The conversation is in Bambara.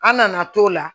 An nana t'o la